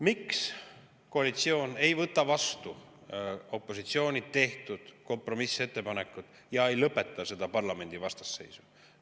Miks koalitsioon ei võta vastu opositsiooni tehtud kompromissettepanekut ja ei lõpeta seda parlamendi vastasseisu?